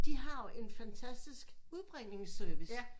De har jo en fantastisk udbringningsservice